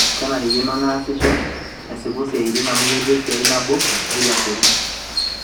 kenarikino naasisho asipu siaitin amu ketii esiai nabo neitu asipu